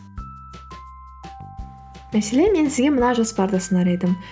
мәселен мен сізге мына жоспарды ұсынар едім